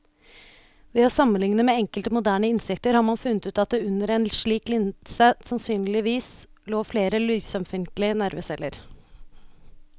Ved å sammenligne med enkelte moderne insekter har man funnet ut at det under en slik linse sannsynligvis lå flere lysømfintlige nerveceller.